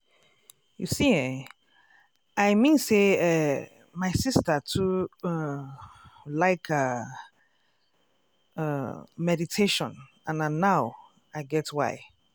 you see eh i mean say eeh my sister too um like ah um meditation and na now i get why.